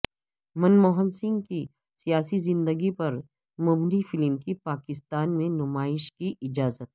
منموہن سنگھ کی سیاسی زندگی پر مبنی فلم کی پاکستان میں نمائش کی اجازت